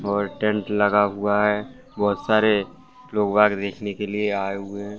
और टेंट लगा हुआ है बहुत सारे लोगा के देखने के लिए आए हुए हैं।